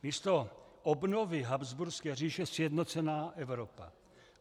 Místo obnovy habsburské říše sjednocená Evropa.